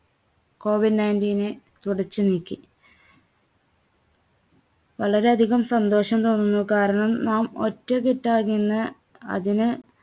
Covid nineteen നെ തുടച്ചുനീക്കി. വളരെ അധികം സന്തോഷം തോന്നുന്നു. കാരണം നാം ഒറ്റക്കെട്ടായി നിന്ന് അതിനെ